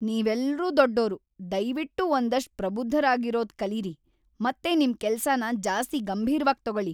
ನೀವೆಲ್ರೂ ದೊಡ್ಡೋರು! ದಯ್ವಿಟ್ಟು ಒಂದಷ್ಟ್ ಪ್ರಬುದ್ಧರಾಗಿರೋದ್ ಕಲೀರಿ ಮತ್ತೆ ನಿಮ್ ಕೆಲ್ಸನ ಜಾಸ್ತಿ ಗಂಭೀರ್ವಾಗ್ ತಗೊಳಿ.